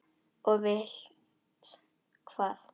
Og vilt hvað?